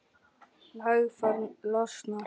Naglfar losnar.